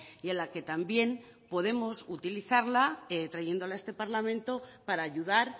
y en la que también podemos utilizarla trayéndola a este parlamento para ayudar